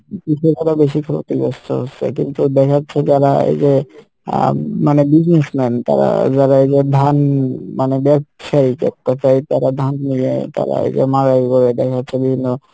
কিন্তু দেখা যাচ্ছে যারা এইযে আহ উম মানে business man তারা যারা এইযে ধান মানে ব্যবসায় তারা ধান নিয়ে তারা এইযে মালগাড়ি দেখা যাচ্ছে বিভিন্ন,